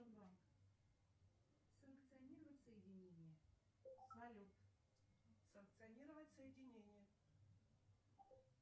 салют санкционировать соединение